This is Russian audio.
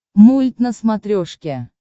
мульт на смотрешке